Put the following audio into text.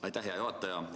Aitäh, hea juhataja!